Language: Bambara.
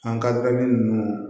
An kali nunnu